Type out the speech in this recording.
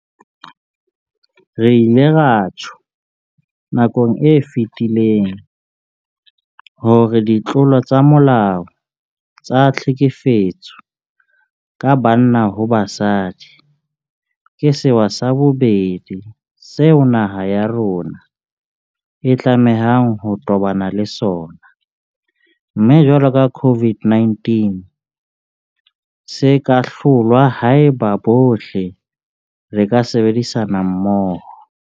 Re ile ra tjho nakong e fetileng hore ditlolo tsa molao tsa tlhekefetso ka banna ho basadi ke sewa sa bobedi seo naha ya rona e tlamehang ho tobana le sona, mme jwalo ka COVID-19 se ka hlolwa haeba bohle re ka sebedisana mmoho.